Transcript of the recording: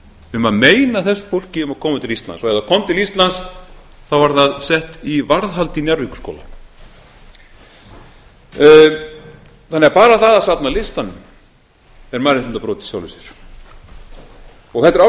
um að meina þessu fólki að koma til íslands og ef það kom til íslands var það sett í varðhald í njarðvíkurskóla bara það að safna listanum er mannréttindabrot í sjálfu sér og þetta er